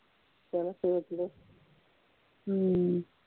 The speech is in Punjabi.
ਚਲੋ ਸੋਚਲੋ